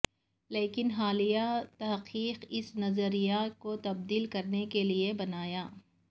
لیکن حالیہ تحقیق اس نظریے کو تبدیل کرنے کے لئے بنایا